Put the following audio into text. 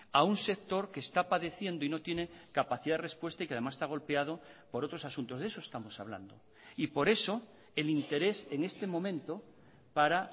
a un sector que está padeciendo y no tiene capacidad de respuesta y que además está golpeado por otros asuntos de eso estamos hablando y por eso el interés en este momento para